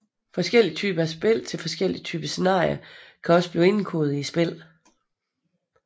Forskellige typer af spil til forskellige typer scenarier kan også blive indkodet i spillene